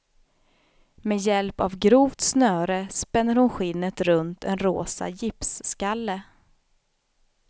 Med hjälp av grovt snöre spänner hon skinnet runt en rosa gipsskalle.